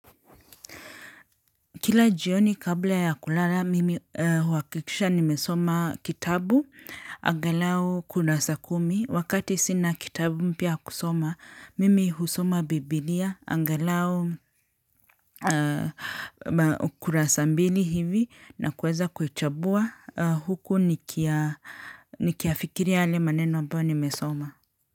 Kila jioni kabla ya kulala mimi huhakikisha nimesoma kitabu angalau kudasa kumi. Wakati sina kitabu mpya ya kusoma mimi husoma bibilia angalau kurasa mbili hivi na kueza kuichambua huku nikiyafikiria yale maneno ambayo nimesoma.